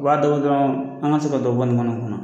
U b'a da bɔ dɔrɔn an ka se ka dɔ bɔ nin kɔnɔ kɔnɔ